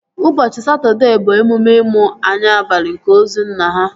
Ụbọchị Satọdee bụ emume imu anya abalị nke ozu nna ha